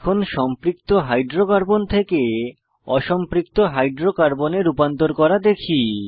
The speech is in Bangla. এখন সম্পৃক্ত হাইড্রোকার্বন থেকে অসম্পৃক্ত হাইড্রোকার্বনে রূপান্তর করা দেখি